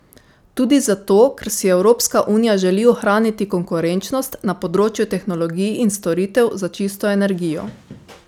Tudi zato, ker si Evropska unija želi ohraniti konkurenčnost na področju tehnologij in storitev za čisto energijo.